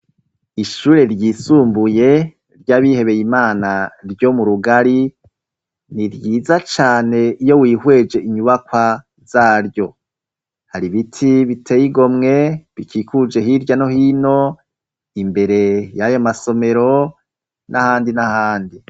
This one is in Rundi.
Ishure ryisumbuye ry'abihebeye Imana ryo mu rugari ni ryiza cane iyo wihweje inyubakwa zaryo, hari ibiti biteye igomwe bikikuje hirya no hino imbere y'ayo masomero n'ahandi n'ahandi.